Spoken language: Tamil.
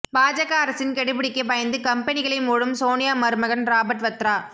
பாஜக அரசின் கெடுபிடிக்கு பயந்து கம்பெனிகளை மூடும் சோனியா மருமகன் ராபர்ட் வத்ரா